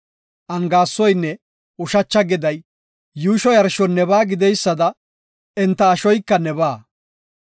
Angaasoynne ushacha geday yuusho yarshon nebaa gididaysada enta ashoyka nebaa.